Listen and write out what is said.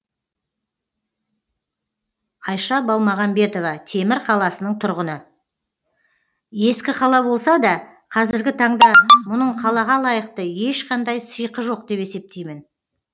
айша балмағамбетова темір қаласының тұрғыны ескі қала болса да қазіргі таңда мұның қалаға лайықты ешқандай сиқы жоқ деп есептеймін